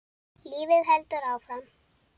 Lífið heldur áfram.